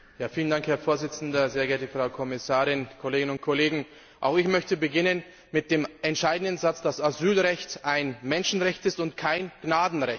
Herr Präsident, sehr geehrte Frau Kommissarin, liebe Kolleginnen und Kollegen! Auch ich möchte beginnen mit dem entscheidenden Satz, dass Asylrecht ein Menschenrecht ist und kein Gnadenrecht.